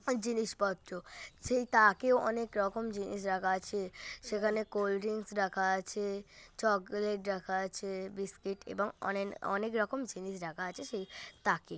জিনিসপত্র সেই তাকেও অনেকরকম জিনিস রাখা আছে। সেখানে কোল্ড ড্রিঙ্কস রাখা আছে চকলেট রাখা আছে বিস্কিট এবং অনেন অনেক রকম জিনিস রাখা আছে সেই তাকে।